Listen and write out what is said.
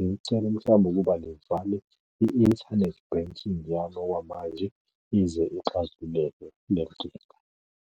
ngicela mhlawumbe ukuba livale i-internet banking yami okwamanje ize ixazululeke lenkinga.